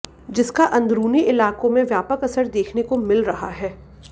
जिसका अंदुरुनी इलाकों में व्यापक असर देखने को मिल रहा है